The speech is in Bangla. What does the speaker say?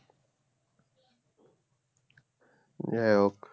যাইহোক